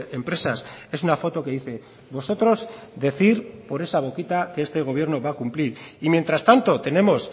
empresas es una foto que dice vosotros decir por esa boquita que este gobierno va a cumplir y mientras tanto tenemos